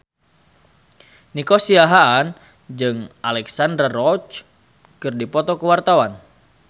Nico Siahaan jeung Alexandra Roach keur dipoto ku wartawan